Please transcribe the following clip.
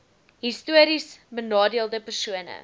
histories benadeelde persone